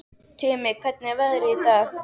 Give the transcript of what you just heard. Tumi, hvernig er veðrið í dag?